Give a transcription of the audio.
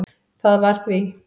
Það var því